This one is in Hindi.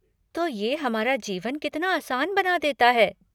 तो ये हमारा जीवन कितना आसान बना देता है।